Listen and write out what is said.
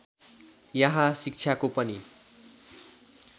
यहाँ शिक्षाको पनि